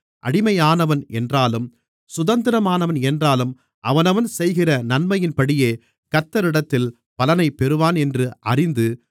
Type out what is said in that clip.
அடிமையானவன் என்றாலும் சுதந்திரமானவன் என்றாலும் அவனவன் செய்கிற நன்மையின்படியே கர்த்தரிடத்தில் பலனை பெறுவான் என்று அறிந்து